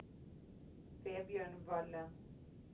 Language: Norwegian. Vebjørn Valle